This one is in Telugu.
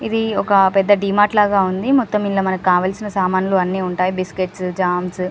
ఇది ఒక పెద్ద డి మార్ట్ లాగా ఉంది. మొత్తం ఇల్లా మనకు కావాల్సిన సామాన్లు అన్ని ఉంటాయి. Biscuits jams --